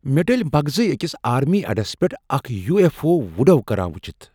مےٚ ڈٔلۍ مغزٕے أکس آرمی اڑس پیٹھٕ اکھ یوٗ ایف اٗو وڈو کران وٕچھتھ